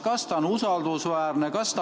Kas kõik on usaldusväärne?